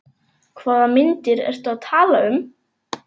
Hvaða myndir ertu að tala um?